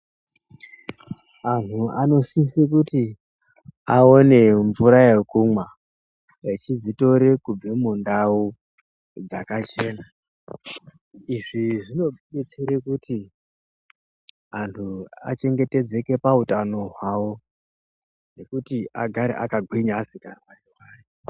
Anhu anosise kuti aone mvura yekumwa echizvitore kubve mundau dzakachena izvi zvinotidetsere kuti antu achengetedzeke pautano hwawo nekuti agare akagwinya asikarwari rwari.